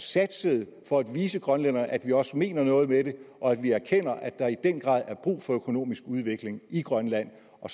satsede for at vise grønlænderne at vi også mener noget med det og at vi erkender at der i den grad er brug for økonomisk udvikling i grønland og